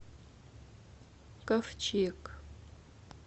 ковчег